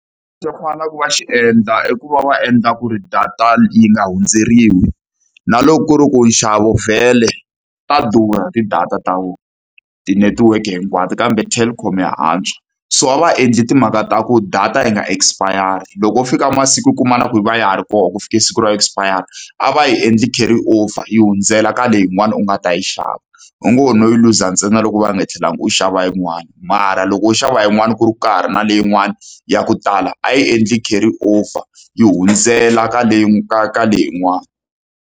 Lexi va fanelaka ku va xi endla i ku va va endla ku ri data yi nga hundzeriwi, na loko ku ri ku nxavo vhele ta durha ti-data ta vona. Tinetiweke hinkwato kambe Telkom ya antswa. So a va endli timhaka ta ku data yi nga expire-ri. Loko ku fika masiku u kuma na ku yi va ya ha ri kona ku fike siku ro expire-ra, a va yi endle carry over yi hundzela ka leyin'wani u nga ta yi xava. U ngo ho no yi luza ntsena loko u va nga tlhelanga u xava yin'wani, mara loko wo xava yin'wani ku ri ku ka ha ri na leyin'wani ya ku tala, a yi endle carry over yi hundzela ka ka ka leyin'wani